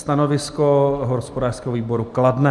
Stanovisko hospodářského výboru: kladné.